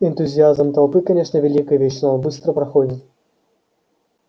энтузиазм толпы конечно великая вещь но он быстро проходит